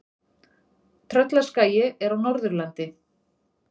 Tröllaskagi er á Norðurlandi.